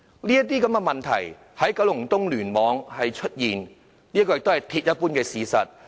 輪候時間長的問題在九龍東聯網出現，是鐵一般的事實。